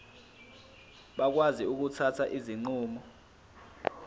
bakwazi ukuthatha izinqumo